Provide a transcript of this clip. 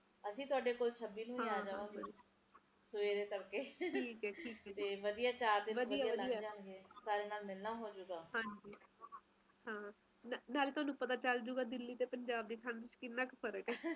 ਇੱਦਾ ਲੱਗ ਰਿਹਾ ਤੁਹਾਡਾ ਓਧਰ ਤਾ ਪੰਜਾਬ ਦਾ ਤਾ ਦਿੱਲੀ ਚ ਤਾ ਹੋ ਜਾਣਾ ਸਾਰੇ ਵੀ ਐਡਰ ਜਿੰਨੇ ਵੀ ਕਾਰਖਾਨੇ ਆ ਤੁਹਾਡੇ ਸਾਮਣੇ ਦੇਖੋ ਇਥੇ